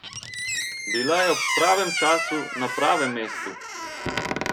Bila je ob pravem času na pravem mestu!